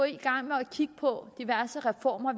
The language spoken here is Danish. i gang med at kigge på diverse reformer